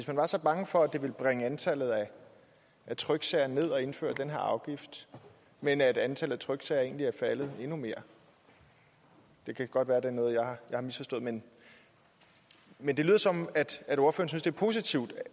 man var så bange for at det ville bringe antallet af tryksager ned at indføre den her afgift men antallet af tryksager er egentlig faldet endnu mere det kan godt være det er noget jeg har misforstået men men det lyder som at det er positivt